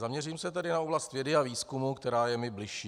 Zaměřím se tedy na oblast vědy a výzkumu, která je mi bližší.